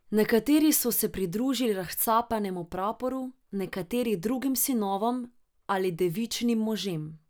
Nekateri so se pridružili Razcapanemu praporu, nekateri Drugim sinovom ali Devičinim možem.